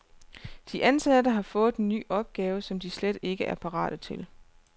De ansatte har fået en ny opgave, som de slet ikke er parate til.